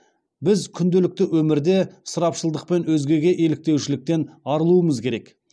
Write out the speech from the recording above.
біз күнделікті өмірде ысырапшылдықпен өзгеге еліктеушіліктен арылуымыз керек